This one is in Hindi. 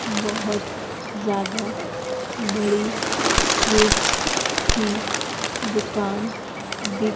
बहोत ज्यादा बड़ी स्वीट्स की दुकान दि--